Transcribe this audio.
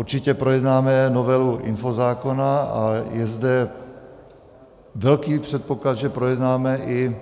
Určitě projednáme novelu infozákona a je zde velký předpoklad, že projednáme i